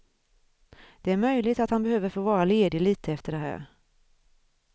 Det är möjligt att han behöver få vara ledig lite efter det här.